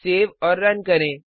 save और run करें